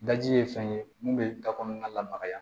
Daji ye fɛn ye mun bɛ da kɔnɔna lamagaya